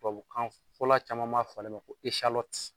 Tubabukan fɔla caman b'a fɔ ale ma ko